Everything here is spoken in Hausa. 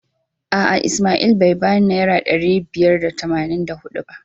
A'a Ismail bai bani naira ɗari biyar da tamanin da huɗu ba.